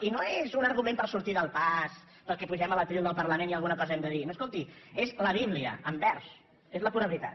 i no és un argument per sortir del pas perquè pugem al faristol del parlament i alguna cosa hem de dir no escolti és la bíblia en vers és la pura veritat